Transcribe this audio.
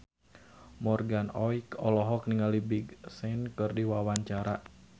Morgan Oey olohok ningali Big Sean keur diwawancara